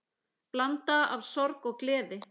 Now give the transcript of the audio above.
Blanda af sorg og gleði.